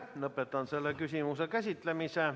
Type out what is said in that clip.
Lõpetan selle küsimuse käsitlemise.